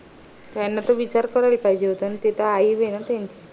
त्यान त विचार करायला पाहिजे ना ती त आई ये ना त्याची